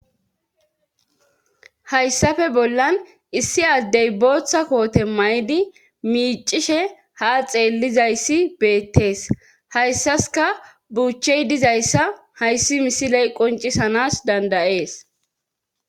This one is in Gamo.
hayssafe bollan issi addey booththa koote may7idi miicishe ha xeellizayssi beettees hayssaska buuchchey dizayssa hayssi misiley qoncisanas dandayees